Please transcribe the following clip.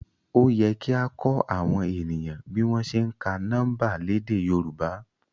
Òyẹ kia kọ awọn eniyan bi wọn se ǹka niọmba lèdè yorùbá